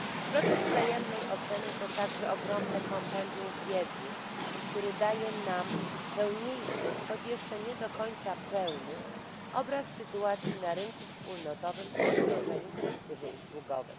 Proces wzajemnej oceny to także ogromne kompendium wiedzy, które daje nam pełniejszy, choć jeszcze nie do końca pełny obraz sytuacji na rynku wspólnotowym po wdrożeniu dyrektywy usługowej.